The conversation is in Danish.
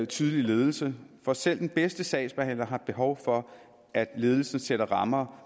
tydelig ledelse for selv den bedste sagsbehandler har behov for at ledelsen sætter rammer